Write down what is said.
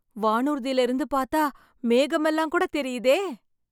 வானூர்தியில இருந்து பார்த்தா மேகமெல்லாம் கூட தெரியுதே